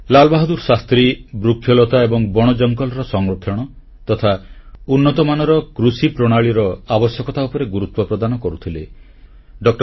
ଲାଲ ବାହାଦୂର ଶାସ୍ତ୍ରୀ ବୃକ୍ଷଲତା ଏବଂ ବଣଜଙ୍ଗଲର ସଂରକ୍ଷଣ ତଥା ଉନ୍ନତମାନର କୃଷିପ୍ରଣାଳୀର ଆବଶ୍ୟକତା ଉପରେ ଗୁରୁତ୍ୱ ପ୍ରଦାନ କରୁଥିଲେ